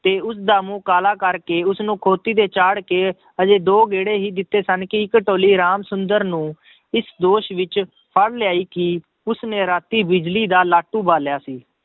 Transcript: ਤੇ ਉਸਦਾ ਮੂੰਹ ਕਾਲਾ ਕਰਕੇ ਉਸਨੂੰ ਖੋਤੀ ਤੇ ਚਾੜ ਕੇ ਹਜੇ ਦੋ ਗੇੜੇ ਹੀ ਦਿੱਤੇ ਸਨ ਕਿ ਇੱਕ ਟੋਲੀ ਰਾਮ ਸੁੰਦਰ ਨੂੰ ਇਸ ਦੋਸ਼ ਵਿੱਚ ਫੜ ਲਿਆਈ ਕਿ ਉਸਨੇ ਰਾਤੀ ਬਿਜ਼ਲੀ ਦਾ ਲਾਟੂ ਬਾਲਿਆ ਸੀ,